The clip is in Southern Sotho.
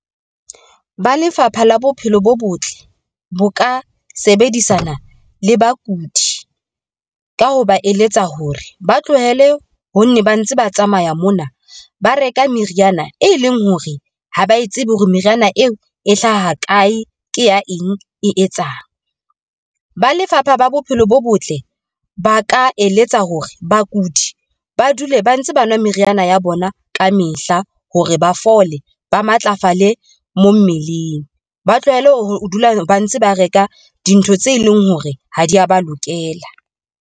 Ba Lefapha la Bophelo bo Botle bo ka sebedisana le bakudi, ka ho ba eletsa hore ba tlohele ho nne ba ntse ba tsamaya mona, ba reka meriana, e leng hore ha ba tsebe hore meriana eo e hlaha kae, ke ya eng e etsang? Ba Lefapha la Bophelo bo Botle ba ka eletsa hore bakudi ba dule ba ntse ba nwa meriana ya bona ka mehla hore ba fole, ba matlafale mo mmeleng. Ba tlohele ho dula ba ntse ba reka dintho tse leng hore ha di ya ba lokela.